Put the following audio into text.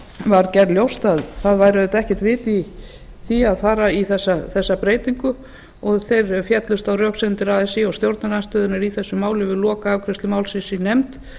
var gert ljóst að það væri auðvitað ekkert vit í því að fara í þessa breytingu og þeir féllust á röksemdir así og stjórnarandstöðunnar í þessu máli við lokaafgreiðslu málsins í nefnd